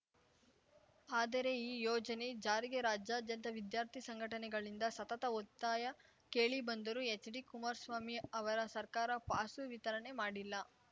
ಆದರೆ ಈ ಯೋಜನೆ ಜಾರಿಗೆ ರಾಜ್ಯಾದ್ಯಂತ ವಿದ್ಯಾರ್ಥಿ ಸಂಘಟನೆಗಳಿಂದ ಸತತ ಒತ್ತಾಯ ಕೇಳಿ ಬಂದರೂ ಎಚ್‌ಡಿ ಕುಮಾರ್ ಸ್ವಾಮಿ ಅವರ ಸರ್ಕಾರ ಪಾಸು ವಿತರಣೆ ಮಾಡಿಲ್ಲ